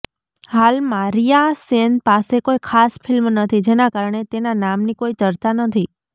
હાલમાં રિયા સેન પાસે કોઈ ખાસ ફિલ્મ નથી જેના કારણે તેના નામની કોઈ ચર્ચા નથી